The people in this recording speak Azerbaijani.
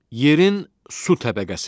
Yerin su təbəqəsi.